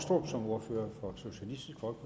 for